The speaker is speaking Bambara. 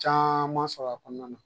Caman sɔrɔ a kɔnɔna na.